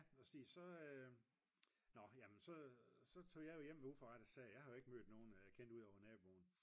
så nå jamen så tog jeg jo hjem ved uforrettet sag jeg har jo ikke mødt nogen jeg kendte udover naboen